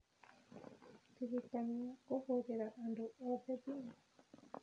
Ndirikania kũhũrĩra andũ othe thimũ